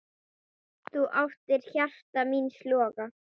Þú áttir hjarta míns loga.